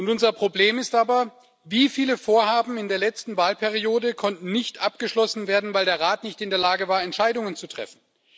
Unser Problem ist aber Wie viele Vorhaben in der letzten Wahlperiode konnten nicht abgeschlossen werden, weil der Rat nicht in der Lage war, Entscheidungen zu treffen?